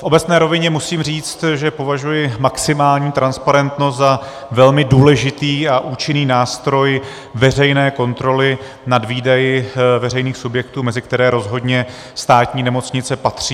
V obecné rovině musím říct, že považuji maximální transparentnost za velmi důležitý a účinný nástroj veřejné kontroly nad výdaji veřejných subjektů, mezi které rozhodně státní nemocnice patří.